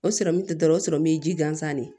O sɔrɔmu tɛ dɔwɛrɛ ye sɔrɔmu ye ji gansan de ye